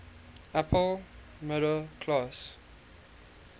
upper middle class